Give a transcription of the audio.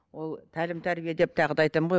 ол тәлім тәрбие деп тағы да айтамын ғой